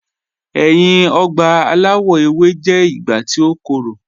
Ẹ̀yin ọ̀gba alawọ̀ ewé jẹ̀ ìgbà tí o kọ́rọ̀.